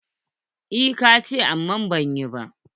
Eh, ka ce amma ban yi ba.